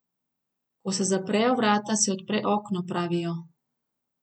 Ko se zaprejo vrata, se odpre okno, pravijo.